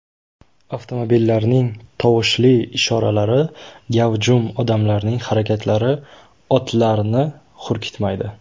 Avtomobillarning tovushli ishoralari, gavjum odamlarning harakatlari otlarni hurkitmaydi.